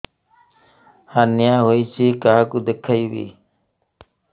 hernia ହୋଇଛି କାହାକୁ ଦେଖେଇବି